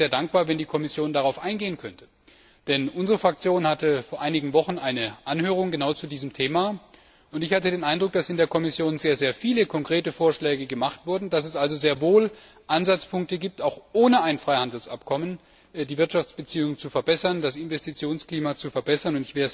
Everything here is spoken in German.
Ich wäre sehr dankbar, wenn die Kommission darauf eingehen könnte, denn unsere Fraktion hatte vor einigen Wochen eine Anhörung genau zu diesem Thema, und ich hatte den Eindruck, dass in der Kommission sehr viele konkrete Vorschläge gemacht wurden, dass es also sehr wohl Ansatzpunkte gibt, auch ohne ein Freihandelsabkommen die Wirtschaftsbeziehungen, das Investitionsklima zu verbessern.